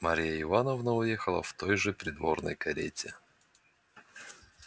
марья ивановна уехала в той же придворной карете